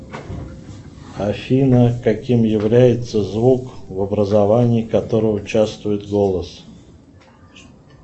афина каким является звук в образовании которого участвует голос